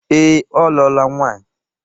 Ee, ọ lụọla nwaanyị.